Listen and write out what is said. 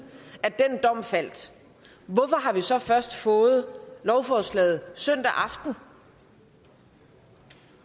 at den dom faldt hvorfor har vi så først fået lovforslaget søndag aften